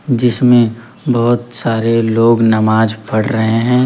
जिसमें बहोत सारे लोग नमाज पढ़ रहे हैं।